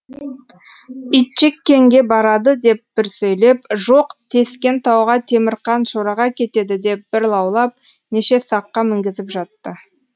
итжеккенге барады деп бір сөйлеп жоқ тескен тауға темірқан шораға кетеді деп бір лаулап неше саққа мінгізіп жатты